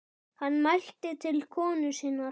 Hann mælti til konu sinnar: